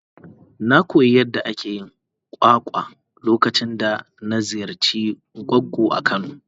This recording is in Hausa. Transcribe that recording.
Na koyi yadda ake yin kwakwa lokacin da na ziyarci goggo a kano.